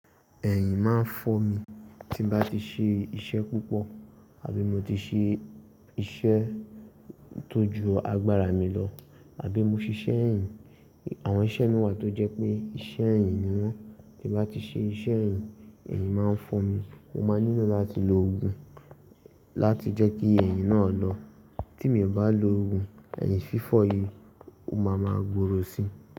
Ẹ̀yìn máa ń fọ mi tí n bá ti ṣe iṣẹ́ púpọ̀ àbí mo ti ṣe iṣẹ́ tó ju agbára mi lọ àbí mo ṣiṣẹ́ ẹ̀yìn. Àwọn iṣẹ́ imi wà tó jẹ́ pé iṣẹ́ ẹ̀yìn ni wọ́n. Tí n bá ti ṣe iṣẹ́ ẹ̀yìn, ẹ̀yìn máa ń fọ́ mi. Mo máa nílò láti lo ògùn láti jẹ́ kí ẹ̀yìn náà lọ. Tí mio bá lo ògùn, ẹ̀yìn fífọ̀ yìí, ó máa ma gbòòrò si.